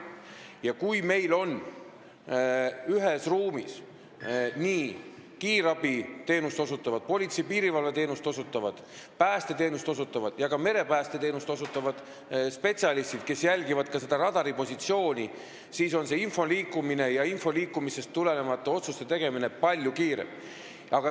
Ja kui meil on ühes ruumis kiirabiteenust, politsei- ja piirivalveteenust, päästeteenust ja merepäästeteenust osutavad spetsialistid, kes jälgivad ka radaripositsioone, liigub info palju kiiremini ja ka otsuseid tehakse palju kiiremini.